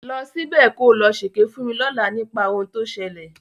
Lọ ṣíbẹ̀ ko lọ ṣèké fún mi lọ́làá nípa ohun tó ṣẹlẹ̀.